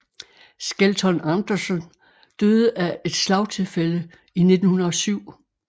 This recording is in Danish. Skelton Anderson døde af et slagtilfælde i 1907